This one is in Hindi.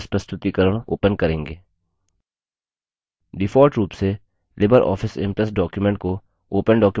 default रूप से लिबर ऑफिस impress documents को open documents format में सेव करता है